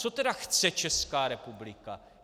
Co tedy chce Česká republika?